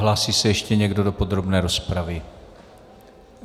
Hlásí se ještě někdo do podrobné rozpravy?